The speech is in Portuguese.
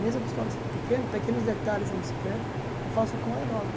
Mesmo a pistola sendo pequena, pequenos detalhes na bicicleta, eu faço com aerógrafo.